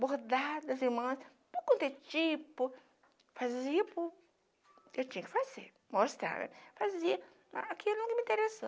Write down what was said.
bordadas em manta, tudo quanto é tipo, fazia por... Eu tinha que fazer, mostrar, fazer aquilo nunca me interessou.